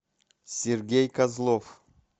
сергей козлов